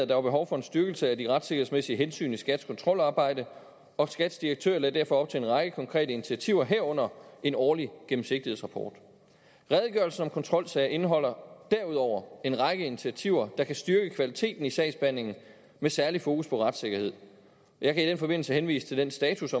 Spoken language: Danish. der var behov for en styrkelse af de retssikkerhedsmæssige hensyn i skats kontrolarbejde og skats direktør lagde derfor op til en række konkrete initiativer herunder en årlig gennemsigtighedsrapport redegørelsen om kontrolsager indeholder derudover en række initiativer der kan styrke kvaliteten i sagsbehandlingen med særlig fokus på retssikkerhed jeg kan i den forbindelse henvise til den status